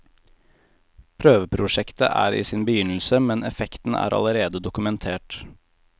Prøveprosjektet er i sin begynnelse, men effekten er allerede dokumentert.